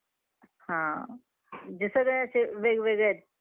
तुम्हाला entertainment विषयी माहिती आहे का?